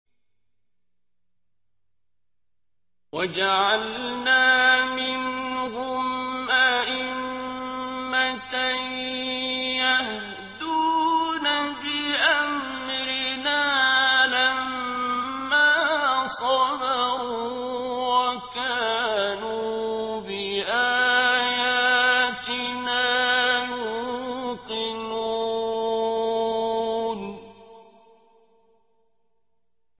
وَجَعَلْنَا مِنْهُمْ أَئِمَّةً يَهْدُونَ بِأَمْرِنَا لَمَّا صَبَرُوا ۖ وَكَانُوا بِآيَاتِنَا يُوقِنُونَ